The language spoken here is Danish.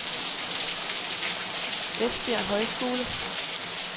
Esbjerg Højskole